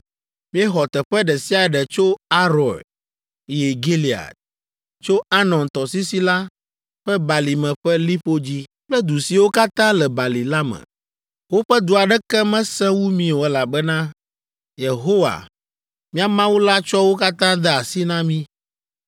Míexɔ teƒe ɖe sia ɖe tso Aroer yi Gilead, tso Arnon tɔsisi la ƒe balime ƒe liƒo dzi kple du siwo katã le bali la me. Woƒe du aɖeke mesẽ wu mí o elabena Yehowa, mía Mawu la tsɔ wo katã de asi na mí.